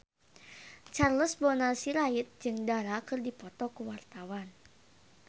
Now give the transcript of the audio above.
Charles Bonar Sirait jeung Dara keur dipoto ku wartawan